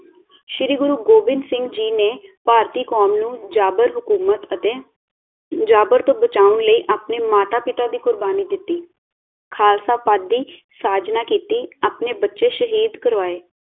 ਸ਼੍ਰੀ ਗੁਰੂ ਗੋਬਿੰਦ ਸਿੰਘ ਜੀ ਨੇ ਭਾਰਤੀ ਕੌਮ ਨੂੰ ਜਾਬਰ ਹੁਕੂਮਤ ਅਤੇ ਜਾਬਰ ਤੋਂ ਬਚਾਉਣ ਲਈ ਅਪਣੇ ਮਾਤਾ ਪਿਤਾ ਦੀ ਕੁਰਬਾਨੀ ਦਿਤੀ ਖਾਲਸਾ ਪਦ ਦੀ ਸਾਜਨਾ ਕੀਤੀ ਆਪਣੇ ਬੱਚੇ ਸ਼ਹੀਦ ਕਰਵਾਏ